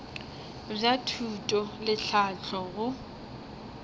bja thuto le tlhahlo go